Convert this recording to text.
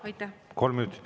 Aitäh!